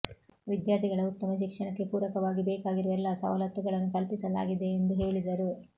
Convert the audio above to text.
ವಿದ್ಯಾರ್ಥಿಗಳ ಉತ್ತಮ ಶಿಕ್ಷಣಕ್ಕೆ ಪೂರಕವಾಗಿ ಬೇಕಾಗಿರುವ ಎಲ್ಲಾ ಸವಲತ್ತುಗಳನ್ನು ಕಲ್ಪಿಸಲಾಗಿಯೆಂದು ಹೇಳಿದರು